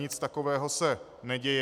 Nic takového se neděje.